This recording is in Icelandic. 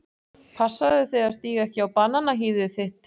Passaðu þig að stíga ekki á bananahýðið þitt.